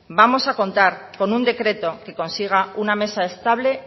vamos a contar con un decreto que consiga una mesa estable